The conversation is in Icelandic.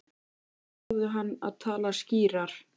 Þeir báðu hann að tala skýrar.